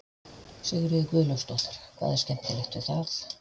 Sigríður Guðlaugsdóttir: Hvað er skemmtilegt við það?